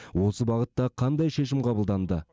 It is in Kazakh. осы бағытта қандай шешім қабылданды